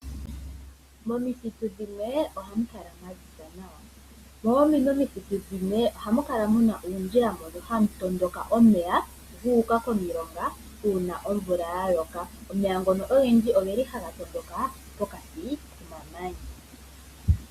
Momithitu dhimwe ohamu kala mwa ziza nawa, dhoo odhindji omithitu dhimwe ohamu kala muna uundjila mbono hawu tondoka omeya gu uka komilonga uuna omvula ya loka. Omeya ngono ogendji ogeli haga tondoka pokati komamanya.